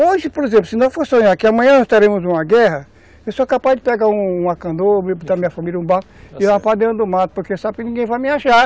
Hoje, por exemplo, se nós, por exemplo, sonharmos que amanhã nós teremos uma guerra, eu sou capaz de pegar uma canoa, botar a minha família num barco e levar para dentro do mato, porque sabe que ninguém vai me achar.